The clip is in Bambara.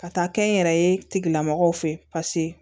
Ka taa kɛ n yɛrɛ ye tigilamɔgɔw fɛ paseke